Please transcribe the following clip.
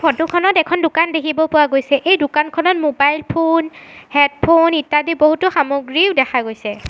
Photo খনত এখন দোকান দেখিব পৰা গৈছে সেই দোকানখনত মোবাইল ফোন হেডফোন ইত্যাদি বহুতো সামগ্ৰীও দেখা গৈছে।